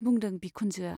बुंदों बिखुनजोआ।